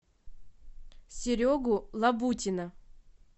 серегу лабутина